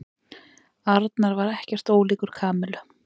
Arnar var ekkert ólíkur Kamillu.